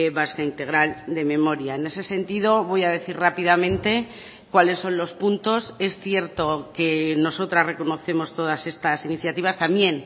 vasca integral de memoria en ese sentido voy a decir rápidamente cuáles son los puntos es cierto que nosotras reconocemos todas estas iniciativas también